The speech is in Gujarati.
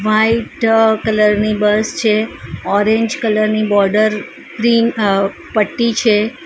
વ્હાઈટ કલર ની બસ છે ઓરેન્જ કલર ની બોર્ડર ક્રીમ અહ પટ્ટી છે.